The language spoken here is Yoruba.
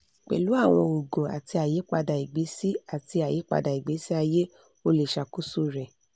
pẹlu awọn oogun ati ayipada igbesi ati ayipada igbesi aye o le ṣakoso rẹ